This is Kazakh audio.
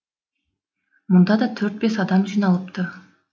мұнда да төрт бес адам жиналыпты